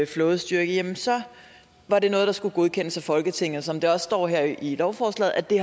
flådestyrke var det noget der skulle godkendes af folketinget som der også står her i lovforslaget er det